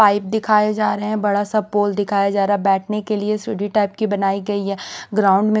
pipe दिखाया जा रहा है बड़ा सा पोल दिखाया जा रहा है बैठने के लिए सीढ़ी टाइप की बनाई गई है ग्राउंड में--